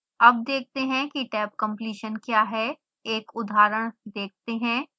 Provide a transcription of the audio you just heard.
अब देखते हैं कि tabcompletion क्या है एक उदाहरण देखते हैं